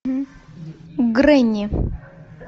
гренни